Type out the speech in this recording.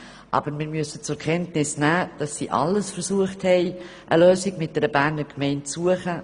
Aber wir müssen zur Kenntnis nehmen, dass alles versucht wurde, eine Lösung mit einer Berner Gemeinde zu finden.